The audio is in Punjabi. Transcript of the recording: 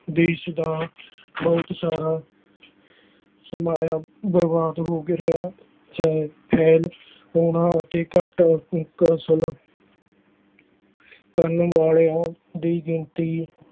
ਦੇਸ ਦਾ ਬਹੁਤ ਸਾਰਾ ਸਰਮਾਇਆ ਬਰਬਾਦ ਹੋ ਗਿਆ ਹੈ ਉਹਨਾਂ ਤੇ ਘੱਟ ਕਰਨ ਵਾਲਿਆਂ ਦੀ ਗਿਣਤੀ